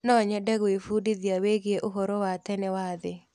Nonyende gwĩbundithia wĩgiĩ ũhoro wa tene wa thĩ.